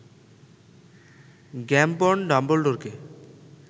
Gambon ডাম্বলডোরকে